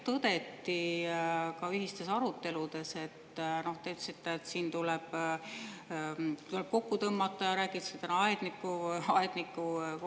Te ütlesite siin, et tuleb kokku tõmmata, ja rääkisite aednikukoolituse õppekavadest ja et ressurssi ei jätku.